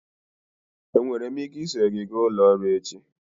Enwere m ike iso gị gaa ụlọ ọrụ echi?